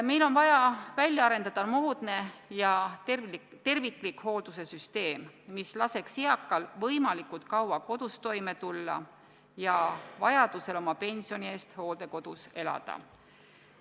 Meil on vaja välja arendada moodne ja terviklik hoolduse süsteem, mis laseks eakal inimesel võimalikult kaua kodus toime tulla ja vajadusel oma pensioni eest hooldekodus elada.